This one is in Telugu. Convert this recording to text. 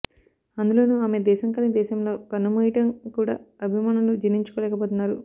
అందులోనూ ఆమె దేశం కాని దేశంలో కన్నుమూయడం కూడా అభిమానులు జీర్ణించుకోలేకపోతున్నారు